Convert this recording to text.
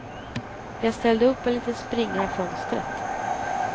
Jag ställde upp en liten springa i fönstret.